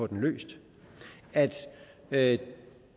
den løst at